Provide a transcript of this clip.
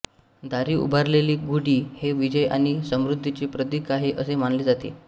दारी उभारलेली गुढी हे विजय आणि समृद्धीचे प्रतीक आहे असे मानले जाते